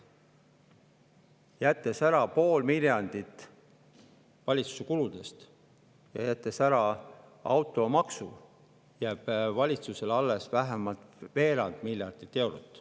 Jättes ära pool miljardit valitsuse kuludest ja jättes ära automaksu, jääb valitsusele alles vähemalt veerand miljardit eurot.